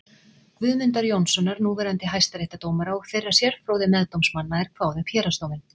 Guðmundar Jónssonar núverandi hæstaréttardómara og þeirra sérfróðu meðdómsmanna er kváðu upp héraðsdóminn.